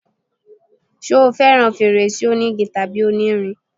ṣé o fẹràn fèrèsé onígi tàbí onírin?